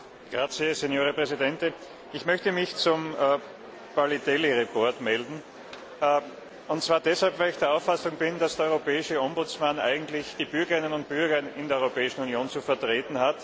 Herr Präsident! Ich möchte mich zum Bericht Paliadeli melden, und zwar deshalb, weil ich der Auffassung bin, dass der Europäische Ombudsmann eigentlich die Bürgerinnen und Bürger in der Europäischen Union zu vertreten hat.